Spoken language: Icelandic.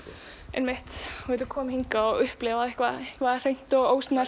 einmitt þú getur komið hingað og upplifað eitthvað hreint og ósnert